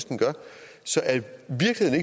så at